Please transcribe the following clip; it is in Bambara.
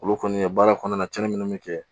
Olu kɔni baara kɔnɔna na cɛnni minnu bɛ kɛ